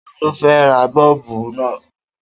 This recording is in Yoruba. Ta ló fẹ́ ra bọ́ọ̀bù náà?